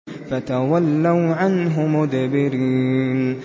فَتَوَلَّوْا عَنْهُ مُدْبِرِينَ